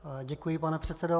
Děkuji, pane předsedo.